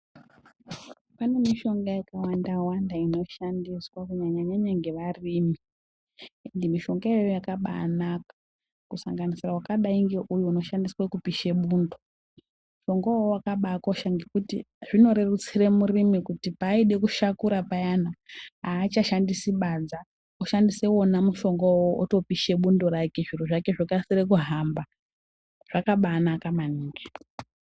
Pane mishonga yakawanda wanda inoshandiswa kunyanya nyanya ngevarimi, ende mishonga iyoyo yakabaanaka kusanganisira wakadai ngeuyu unoshandiswa kupisha bundo. Mushonga wowo wakabakosha ngekuti zvinorerutsira murimi kuti paaida kushakura payana aachashandisi badza oshandisa wona mushonga uwowo otopisha bundo rake zviro zvake zvokasira kuhamba, zvakabaanaka maningi.